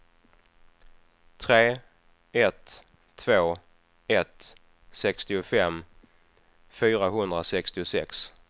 tre ett två ett sextiofem fyrahundrasextiosex